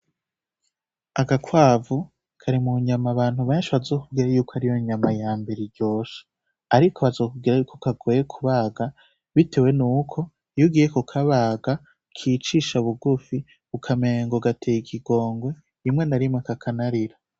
Agakwavu kari munyama abantu benshi bazokubwira kwariyo nyama yambere iryoshe. Ariko bazokubwira yuko kagoye kubaga bitewe nuko, iyo ugiye kukabaga kicisha bugufi, ukamengo gateye ikigongwe rimwe na rimwe kakanarira.